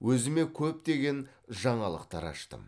өзіме көптеген жаңалықтар аштым